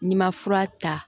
N'i ma fura ta